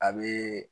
A bee